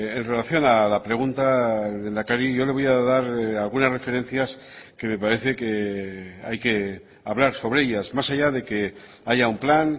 en relación a la pregunta lehendakari yo le voy a dar algunas referencias que me parece que hay que hablar sobre ellas más allá de que haya un plan